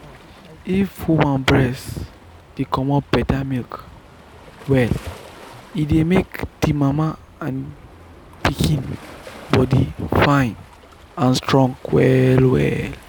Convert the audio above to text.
if woman breast dey comot better milk well e dey make the mama and pikin body fine and strong well well.